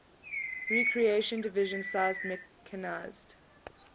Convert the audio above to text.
recreated division sized mechanized